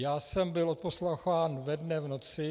Já jsem byl odposlouchán ve dne v noci.